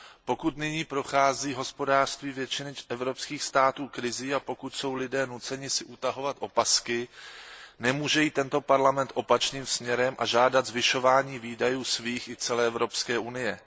Pokud nyní prochází hospodářství většiny evropských států krizí a pokud jsou lidé nuceni si utahovat opasky, nemůže jít tento parlament opačným směrem a žádat zvyšování výdajů svých i celé Evropské unie.